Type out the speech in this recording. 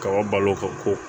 Ka o balo ka ko